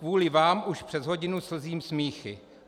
Kvůli vám už přes hodinu slzím smíchy.